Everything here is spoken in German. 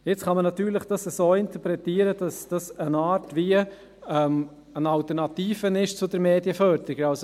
Natürlich kann man dies nun so interpretieren, dass es eine Art Alternative zur Medienförderung ist.